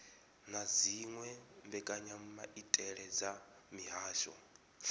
na dziwe mbekanyamaitele dza mihasho